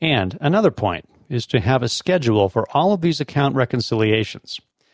а надо